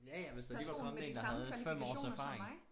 Ja ja hvis der lige var kommet én der havde 5 års erfaring